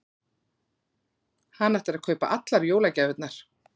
Hann ætlar að kaupa allar jólagjafirnar.